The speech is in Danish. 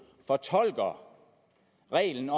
fortolker reglerne